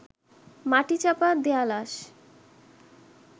মাটিচাপা দেয়া লাশ